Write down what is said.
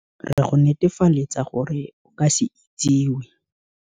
Re go netefaletsa gore o ka se itsiwe.